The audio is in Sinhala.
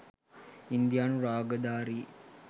ඉන්දියානු රාගධාරී